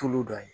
Tulu dɔ ye